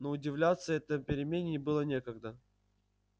но удивляться этой перемене было некогда